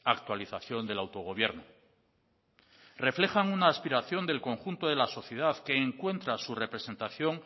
actualización del autogobierno reflejan una aspiración del conjunto de la sociedad que encuentra su representación